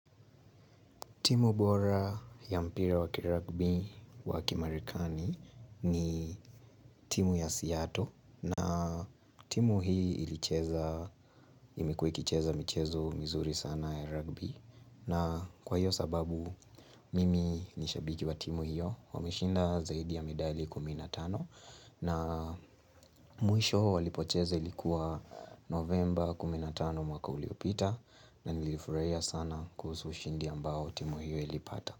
Timu bora ya mpira wa kirugby wa kimarekani ni timu ya Seattle na timu hii ilicheza imekuwa ikicheza michezo mizuri sana ya rugby na kwa hiyo sababu mimi ni shabiki wa timu hiyo wameshinda zaidi ya medali kumi na tano na mwisho walipocheza ilikuwa November kumi na tano mwaka uliopita na nilifurahia sana kuhusu ushindi ambao timu hiyo ilipata.